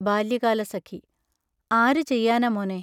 ബാല്യകാലസഖി ആരു ചെയ്യാനാ മോനേ?